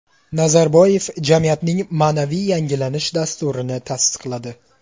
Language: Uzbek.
Nazarboyev jamiyatning ma’naviy yangilanish dasturini tasdiqladi.